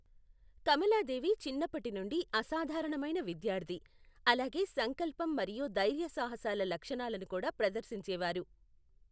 కమలాదేవి చిన్నప్పటి నుండి అసాధారణమైన విద్యార్థి, అలాగే సంకల్పం మరియు ధైర్యసాహసాల లక్షణాలను కూడా ప్రదర్శించేవారు.